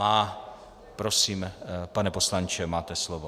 Má. Prosím, pane poslanče, máte slovo.